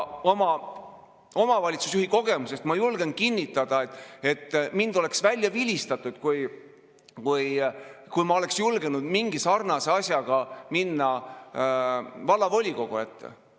Omavalitsusjuhi kogemuse põhjal ma julgen kinnitada, et mind oleks välja vilistatud, kui ma oleksin julgenud mingi sarnase asjaga minna vallavolikogu ette.